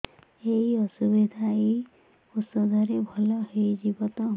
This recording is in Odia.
ଏଇ ଅସୁବିଧା ଏଇ ଔଷଧ ରେ ଭଲ ହେଇଯିବ ତ